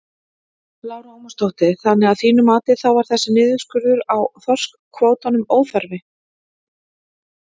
Lára Ómarsdóttir: Þannig að þínu mati þá var þessi niðurskurður á þorskkvótanum óþarfi?